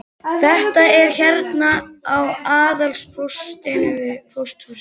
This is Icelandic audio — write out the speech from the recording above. Þetta er hérna á aðalpósthúsinu við Pósthússtræti.